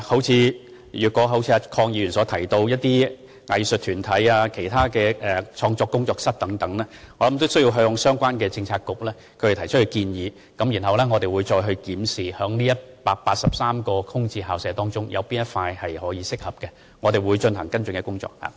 就着鄺議員提到的藝術團體，或其他創作、工作室等用途，我想亦應先向相關政策局提出建議，然後我們會檢視在該183間空置校舍中有否任何合適的選擇，再進行跟進工作。